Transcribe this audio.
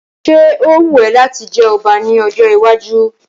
Ṣé ó wù ẹ́ láti jẹ ọba ní ọjọ́ iwájú?